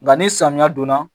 Nka ni samiya donna